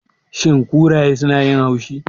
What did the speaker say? Shin kuraye sunayin haushi?